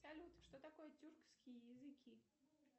салют что такое тюркские языки